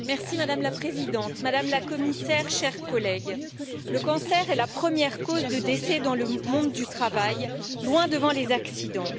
Madame la Présidente, Madame la Commissaire, chers collègues, le cancer est la première cause de décès dans le monde du travail, loin devant les accidents.